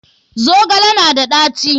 Zogale na da ɗaci?